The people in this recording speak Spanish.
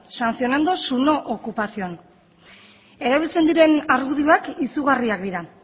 sancionando su no ocupación erabiltzen diren argudioak izugarriak dira